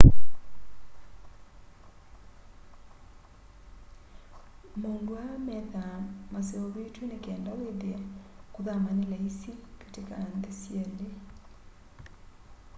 maundu aa methwaa maseuvitw'e ni kenda withie kuthama ni laisi kati ka nthi syeli